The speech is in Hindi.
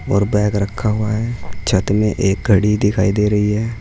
और बैग रखा हुआ है। छत में एक घड़ी दिखाई दे रही है।